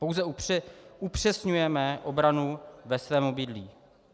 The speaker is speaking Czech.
Pouze upřesňujeme obranu ve svém obydlí.